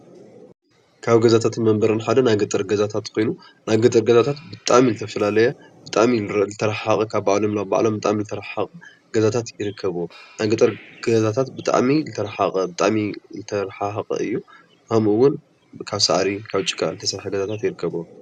ካብ ገዛታትን መንበሪን ሓደ ናይ ገጠር ገዛታት ኮይኑ ናይ ገጠር ገዛታት ብጣዕሚ ዝተፈላለየ ብጣዕሚ ዝተረሓሓቐ ካብ ባዕሎም ናብ ባዕሎም ብጣዕሚ ዝተረሓሓቐ ገዛታት ይርከብዎ፡፡ ናይ ገጠር ገዛታት ብጣዕሚ ዝተረሓሓቐ እዩ፡፡ ከምኡውን ካብ ሳዕሪ ካብ ጭቓ ዝተሰርሐ ገዛታት ይርከብዎ፡፡